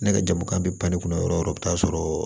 Ne ka jamu kan bɛ ban ne kunna yɔrɔ o yɔrɔ i bɛ taa sɔrɔ